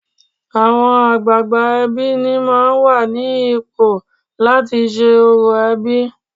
Àwọn àgbààgbà ẹbí ni máà ń wà ní ipò láti ṣe orò ẹbí.